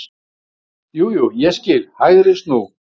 Jú, jú ég skil, HÆGRI snú.